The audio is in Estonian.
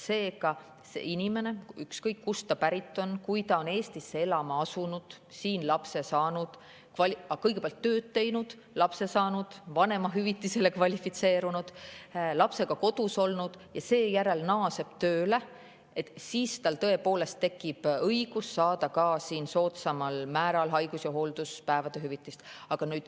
Seega, kui inimene on – ükskõik, kust ta pärit on – Eestisse elama asunud, siin kõigepealt tööd teinud, lapse saanud, vanemahüvitisele kvalifitseerunud, lapsega kodus olnud ja seejärel naaseb tööle, siis tal tõepoolest tekib õigus saada soodsamal määral haigus- ja hoolduspäevade hüvitist.